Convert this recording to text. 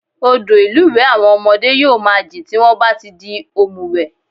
Odò ìlúwẹ̀ẹ́ àwọn ọmọdé yóò máa jìn tí wọ́n bá ti di òmùwẹ̀